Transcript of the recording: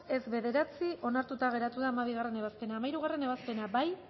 hirurogeita bost boto aldekoa nueve contra onartuta geratu da hamabigarrena ebazpena hamairugarrena ebazpena bozkatu